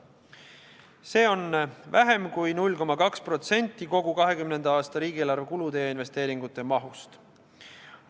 See on vähem kui 0,2% kogu 2020. aasta riigieelarve kulude ja investeeringute mahust.